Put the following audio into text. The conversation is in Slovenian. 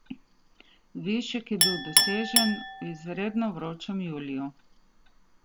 Višek je bil dosežen v izredno vročem juliju.